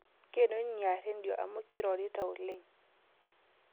Ngeno inia redio amu keirorita oleng